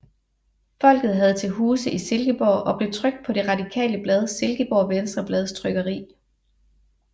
Folket havde til huse i Silkeborg og blev trykt på det radikale blad Silkeborg Venstreblads trykkeri